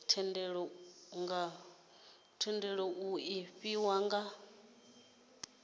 thendelo iu nga fhiwa nga